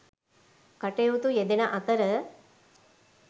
කටයුතු යෙදෙන අතර